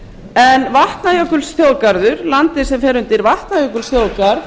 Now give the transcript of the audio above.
en vatnajökulsþjóðgarður landið sem fer undir vatnajökulsþjóðgarð